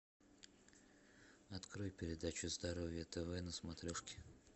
открой передачу здоровье тв на смотрешке